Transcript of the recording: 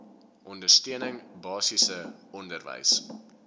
ondersteuning basiese onderwys